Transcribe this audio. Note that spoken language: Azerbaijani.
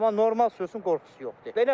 Amma normal sürənin qorxusu yoxdur.